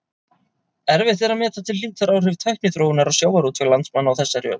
Erfitt er að meta til hlítar áhrif tækniþróunar á sjávarútveg landsmanna á þessari öld.